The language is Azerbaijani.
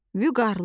vüqarlı,